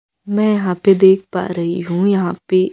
मैं यहां पे देख पा रही हूं यहा पे--